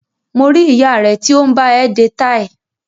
Mo rí ìyá rẹ tí ó ń bá ẹ de táì